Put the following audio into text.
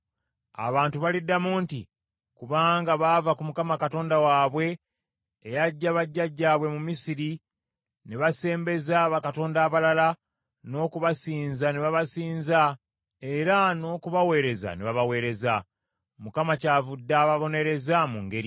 Abantu baliddamu nti, ‘Kubanga baava ku Mukama Katonda waabwe, eyaggya bajjajjaabwe mu Misiri, ne basembeza bakatonda abalala, n’okubasinza ne babasinza era n’okubaweereza ne babaweereza. Mukama kyavudde ababonereza mu ngeri eyo.’ ”